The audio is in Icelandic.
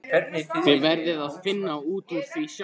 Þið verðið að finna út úr því sjálf.